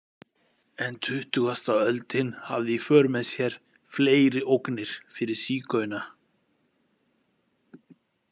En tuttugasta öldin hafði í för með sér fleiri ógnir fyrir sígauna.